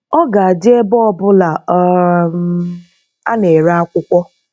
Ọ ga-adị ebe ọ bụla um a na-ere akwụkwọ.